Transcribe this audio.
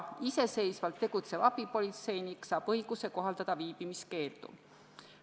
Iseseisvalt tegutsev abipolitseinik saab õiguse kohaldada ka viibimiskeeldu.